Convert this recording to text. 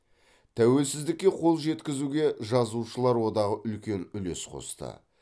тәуелсіздікке қол жеткізуге жазушылар одағы үлкен үлес қосты